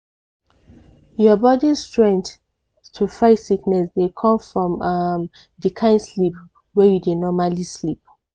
your body's strength to fight sickness dey come from um di kind sleep wey you dey normally sleep.